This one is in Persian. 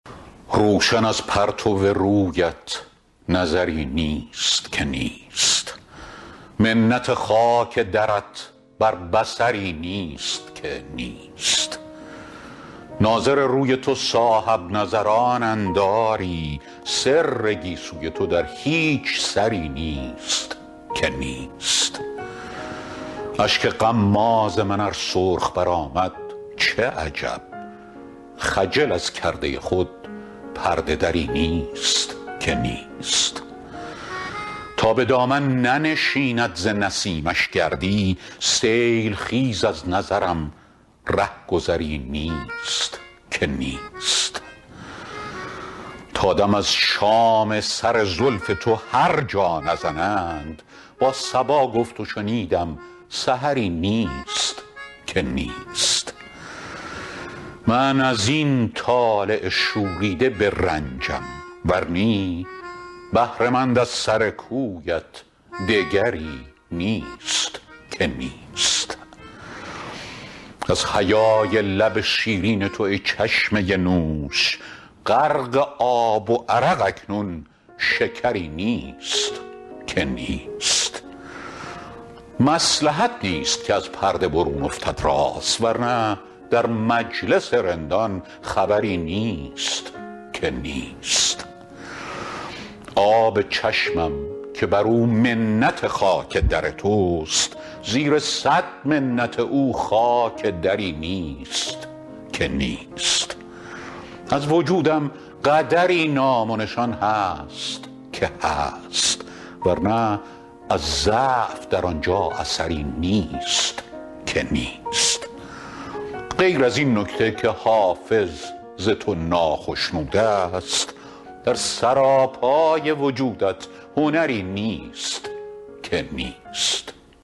روشن از پرتو رویت نظری نیست که نیست منت خاک درت بر بصری نیست که نیست ناظر روی تو صاحب نظرانند آری سر گیسوی تو در هیچ سری نیست که نیست اشک غماز من ار سرخ برآمد چه عجب خجل از کرده خود پرده دری نیست که نیست تا به دامن ننشیند ز نسیمش گردی سیل خیز از نظرم ره گذری نیست که نیست تا دم از شام سر زلف تو هر جا نزنند با صبا گفت و شنیدم سحری نیست که نیست من از این طالع شوریده برنجم ور نی بهره مند از سر کویت دگری نیست که نیست از حیای لب شیرین تو ای چشمه نوش غرق آب و عرق اکنون شکری نیست که نیست مصلحت نیست که از پرده برون افتد راز ور نه در مجلس رندان خبری نیست که نیست شیر در بادیه عشق تو روباه شود آه از این راه که در وی خطری نیست که نیست آب چشمم که بر او منت خاک در توست زیر صد منت او خاک دری نیست که نیست از وجودم قدری نام و نشان هست که هست ور نه از ضعف در آن جا اثری نیست که نیست غیر از این نکته که حافظ ز تو ناخشنود است در سراپای وجودت هنری نیست که نیست